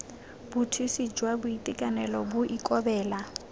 bothusi jwa boitekanelo bo ikobela